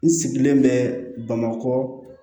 N sigilen bɛ bamakɔ